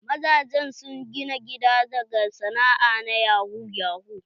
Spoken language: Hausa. Mazajen sun gina gida daga sana'a na yahu yahu.